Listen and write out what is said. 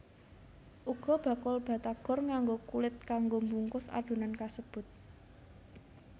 Uga bakul batagor nganggo kulit kanggo mbungkus adonan kasebut